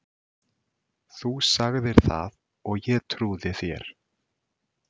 . þú sagðir það og ég trúði þér.